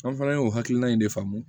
An fana y'o hakilina in de faamu